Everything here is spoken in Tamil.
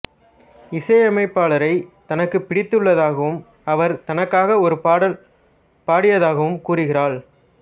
இசையமைப்பாளரை தனக்கு பிடித்துள்ளதாகவும் அவர் தனக்காக ஒரு பாடல் பாடியதாகவும் கூறுகிறாள்